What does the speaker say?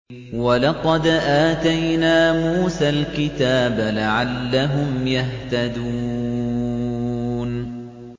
وَلَقَدْ آتَيْنَا مُوسَى الْكِتَابَ لَعَلَّهُمْ يَهْتَدُونَ